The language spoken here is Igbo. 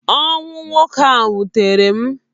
Ọnwụ nwoke ahụ wụtere m.